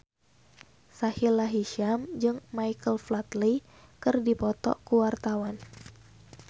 Sahila Hisyam jeung Michael Flatley keur dipoto ku wartawan